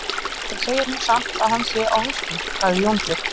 Þeir segja nú samt að hann sé á hausnum, sagði Jónbjörn.